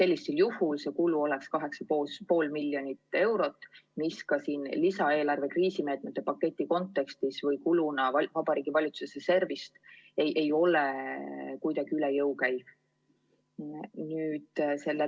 Vajalik kulu oleks 8,5 miljonit eurot, mis lisaeelarve kriisimeetmete paketi kontekstis või kuluna Vabariigi Valitsuse reservist ei ole kuidagi üle jõu käiv.